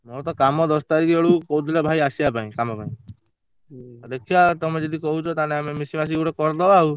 ମୋର ତ କାମ ଦଶ ତାରିଖ ବେଳକୁ କହୁଥିଲେ ଭାଇ ଆସିବା ପାଇଁ କାମ ଙ୍କ ଦେଖିଆ ତମେ ଯଦି କହୁଛ ତାହେନେ ଆମେ ମିଶି ମସିକି ଗୋଟେ କରିଦବା ଆଉ।